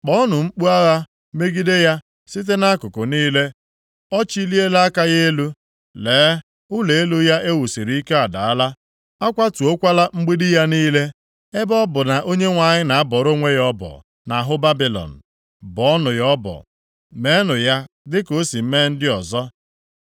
Kpọọnụ mkpu agha megide ya, site nʼakụkụ niile! Ọ chiliela aka ya elu. Lee, ụlọ elu ya e wusiri ike adaala, a kwatuokwala mgbidi ya niile. Ebe ọ bụ na Onyenwe anyị na-abọrọ onwe ya ọbọ nʼahụ Babilọn, bọọnụ ya ọbọ. Meenụ ya dịka o si mee ndị ọzọ.